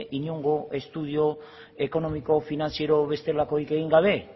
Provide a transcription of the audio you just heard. inongo estudio ekonomiko finantziero bestelakorikegin gabe